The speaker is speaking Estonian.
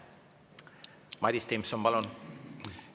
Madis Timpson, palun!